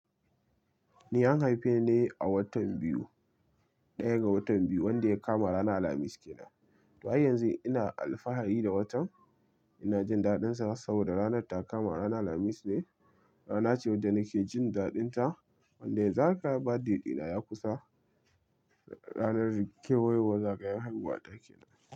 Ni an haife ni a watan biyu, ɗaya ga watan biyu wanda ya kama ranar Alhamis kenan. Don yanzu ina alfahari da watan ina jin dadin sa saboda ranar ta kama ranar Alhamis ne. Rana ce wadda nake jin dadin ta, wanda yanzu haka birthday dina ya kusa. Ranar kewayowar zagayon haihuwa ta kenan.